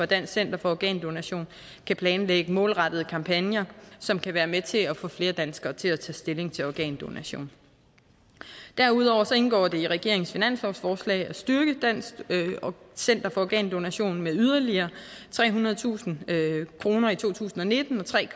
dansk center for organdonation kan planlægge målrettede kampagner som kan være med til at få flere danskere til at tage stilling til organdonation derudover indgår det i regeringens finanslovsforslag at styrke dansk center for organdonation med yderligere trehundredetusind kroner i to tusind og nitten og tre